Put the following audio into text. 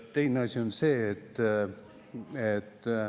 Teine asi on see, et …